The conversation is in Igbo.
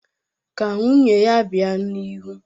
Ka nwunye ya bịa n'ihu.